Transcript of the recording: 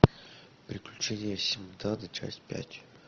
приключения синдбада часть пять